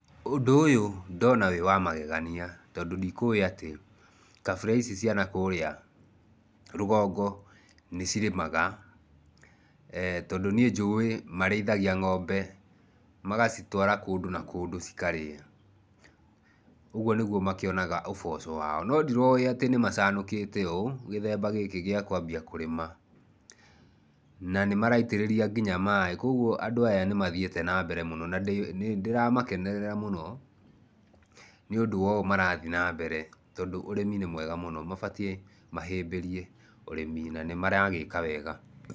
Ũndũ ũyũ ndona wĩ wa magegania, tondũ ndikũũĩ atĩ kabira ici cia nakũrĩa rũgongo nĩ cirĩmaga. Tondũ niĩ njũĩ marĩithagia ng'ombe magacitwara kũndũ na kũndũ cikarĩa. Ũguo nĩguo makĩonaga ũboco wao. No ndiroĩ atĩ nĩ macanukĩte ũũ, gĩthemba gĩkĩ gĩa kwambia kũrĩma na nĩ maraitĩrĩria nginya maaĩ. Kwoguo andũ aya nĩ mathiĩte nambere mũno na nĩ ndĩra makenerera mũno nĩũndũ wa ũũ marathi nambere, tondũ ũrĩmi nĩ mwega mũno. Mabatiĩ mahĩmbĩrie ũrĩmi na nĩ maragĩĩka wega.